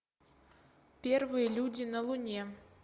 первые люди на луне